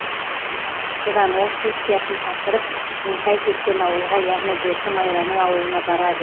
содан ол сессиясын тапсырып меңтай кеткен ауылға яғни досы майраның ауылына барады